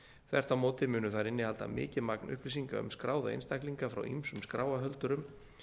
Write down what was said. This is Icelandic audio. þvert á móti munu þær innihalda mikið magn upplýsinga um skráða einstaklinga frá ýmsum skráarhöldurum